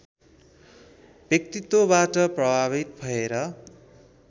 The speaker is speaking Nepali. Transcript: व्यक्तित्वबाट प्रभावित भएर